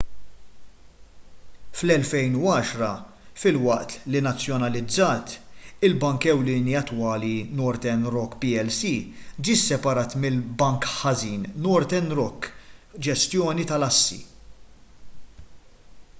fl-2010 filwaqt li nazzjonalizzat il-bank ewlieni attwali northern rock plc ġie sseparat mill- bank ħażin” northern rock ġestjoni tal-assi